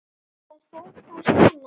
Það fór þá svona.